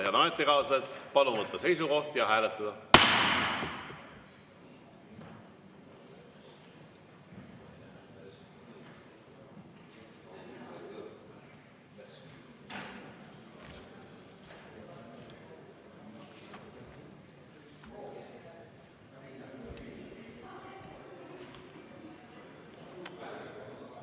Head ametikaaslased, palun võtta seisukoht ja hääletada!